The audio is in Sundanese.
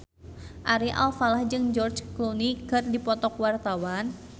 Ari Alfalah jeung George Clooney keur dipoto ku wartawan